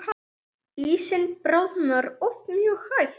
Ísinn bráðnar oft mjög hægt.